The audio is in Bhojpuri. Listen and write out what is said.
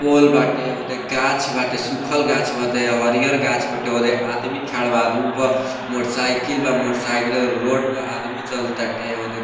पोल बाटे ओदे गाछ बाटे सुखल गाछ बाटे हरियर गाछ बाटे ओदे आदमी खड़ा बा आदमी बाद मोटर साइकिल बा मोटर साइकिल रोड पर आदमी चले टाटे ओदे --